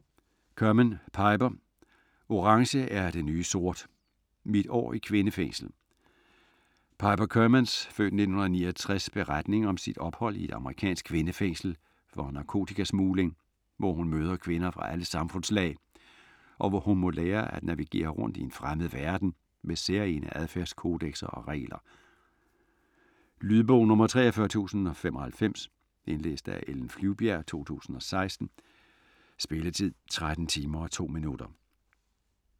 Kerman, Piper: Orange er det nye sort: mit år i kvindefængsel Piper Kermans (f. 1969) beretning om sit ophold i et amerikansk kvindefængsel for narkotikasmugling, hvor hun møder kvinder fra alle samfundslag, og hvor hun må lære at navigere rundt i en fremmed verden med særegne adfærdskodekser og regler. Lydbog 43095 Indlæst af Ellen Flyvbjerg, 2016. Spilletid: 13 timer, 2 minutter.